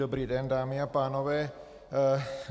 Dobrý den, dámy a pánové.